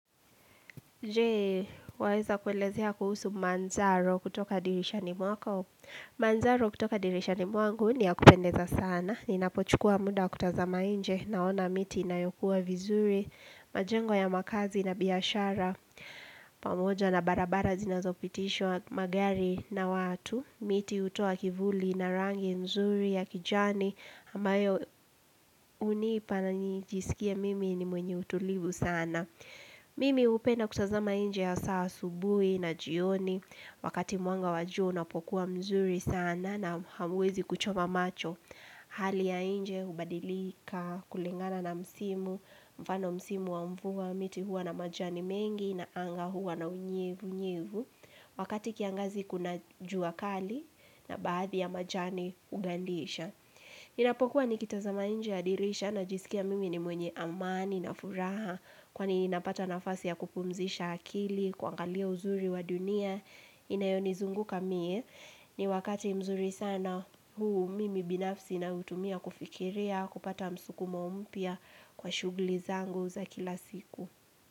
Je, waweza kuelezea kuhusu manzaro kutoka dirishani mwakao. Manzaro kutoka dirishani mwangu ni ya kupendeza sana. Ninapochukua muda wa kutazama nje naona miti inayokuwa vizuri. Majengo ya makazi na biashara. Pamoja na barabara zinazopitishwa magari na watu. Miti hutoa kivuli na rangi nzuri ya kijani. Ambayo hunipa na nijisikia mimi ni mwenye utulivu sana. Mimi hupenda kutazama nje ya hasaa asubuhi na jioni wakati mwanga wa jua unapokuwa mzuri sana na hamwezi kuchoma macho Hali ya nje, hubadilika, kulingana na msimu, mfano msimu wa mvua miti huwa na majani mengi na anga huwa na unyevunyevu Wakati kiangazi kuna jua kali na baadhi ya majani hugandisha Inapokuwa nikitazama nje ya dirisha najisikia mimi ni mwenye amani na furaha Kwani ninapata nafasi ya kupumzisha akili, kuangalia uzuri wa dunia Inayonizunguka mie ni wakati mzuri sana huu mimi binafsi na utumia kufikiria kupata msukumo mpya kwa shughuli zangu za kila siku.